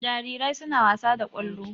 Jarirai suna wasa da ƙwallo.